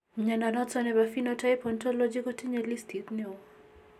Mnyondo noton nebo Phenotype Ontology kotinye listiit nebo